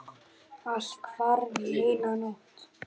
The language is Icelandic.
Allt hvarf á einni nóttu.